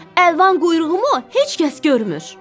Əlvan quyruğumu heç kəs görmür.